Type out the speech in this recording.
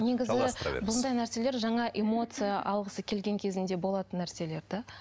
негізі бұндай нәрселер жаңа эмоция алғысы келген кезінде болатын нәрселер де